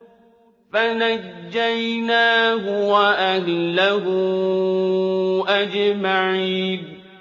فَنَجَّيْنَاهُ وَأَهْلَهُ أَجْمَعِينَ